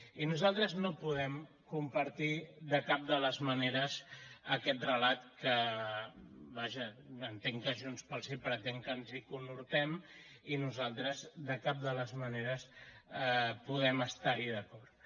i nosaltres no podem compartir de cap de les maneres aquest relat que vaja entenc que junts pel sí pretén que ens hi conhortem i nosaltres de cap de les maneres podem estar hi d’acord